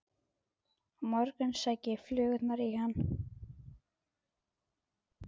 Á morgun sækja flugurnar í hann.